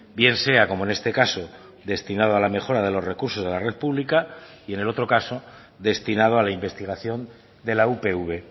bien sea como en este caso destinado a la mejora de los recursos de la red pública y en el otro caso destinado a la investigación de la upv